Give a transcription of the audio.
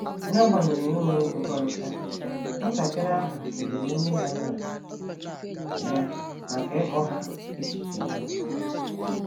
N’agbanyeghị enweghị nkwekọrịta, nwatakịrị ahụ kelere nne na nna ya maka ịkọ ha echiche ha.